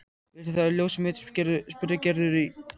Viltu það ljósið mitt? spurði Gerður í gælutóni.